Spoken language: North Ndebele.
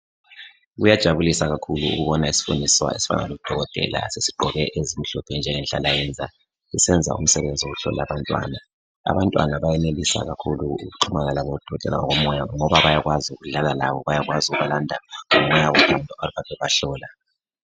Kuyajabulisa kakhulu ukubona isifundiswa esifana odokotela esigqoke ezimhlophe njengenhlala yenza. Sisenza umsebenzi wokuhlola abantwana. Abantwana beyenelisa kakhulu ukuxhumana labo dokotela ngokomoya ngoba bayakwazi ukudlala labo bayakwazi ukubalanda ngomoya ophansi behamba bebahlola.